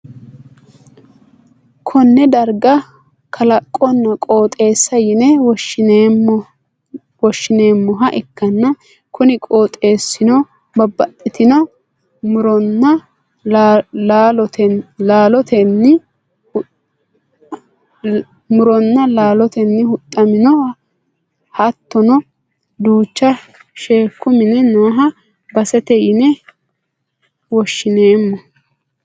konne darga kalaqonna qooxeessa yine woshhsi'neemmoha ikkanna, kuni qooxeessino babbaxxitino muronna laalotenni huxxaminho, hattono duucha sheekku minna no baseeti yine woshhsineemmo.